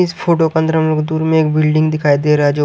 इस फोटो के अंदर दूर में एक बिल्डिंग दिखाई दे रहा है जो --